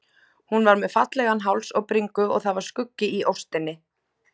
Hún var með fallegan háls og bringu og það var skuggi í óstinni.